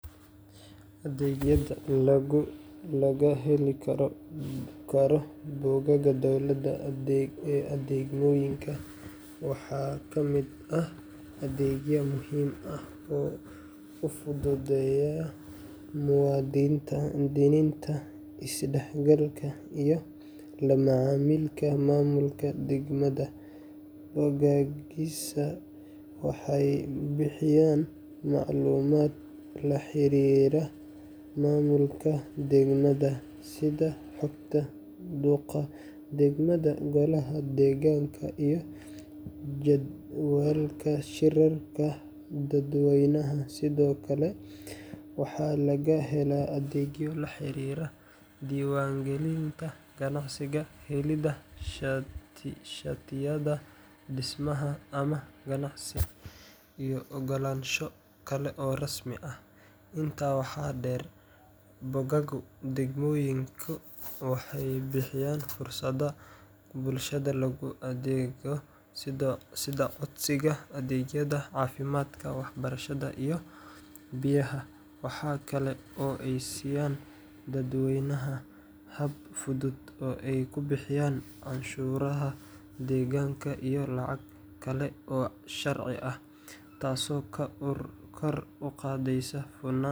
Adeegyada laga heli karo bogagga dowladda ee degmooyinka waxaa ka mid ah adeegyo muhiim ah oo u fududeeya muwaadiniinta is-dhexgalka iyo la macaamilka maamulka degmada. Bogaggaasi waxay bixiyaan macluumaad la xiriira maamulka degmada, sida xogta duqa degmada, golaha deegaanka, iyo jadwalka shirarka dadweynaha. Sidoo kale, waxaa laga helaa adeegyo la xiriira diiwaangelinta ganacsiga, helidda shatiyada dhismaha ama ganacsi, iyo oggolaansho kale oo rasmi ah. Intaa waxaa dheer, bogagga degmooyinka waxay bixiyaan fursado bulshada loogu adeego sida codsiga adeegyada caafimaadka, waxbarashada, iyo biyaha. Waxaa kale oo ay siiyaan dadweynaha hab fudud oo ay ku bixiyaan canshuuraha deegaanka iyo lacago kale oo sharci ah, taasoo kor u qaadaysa hufnaanta.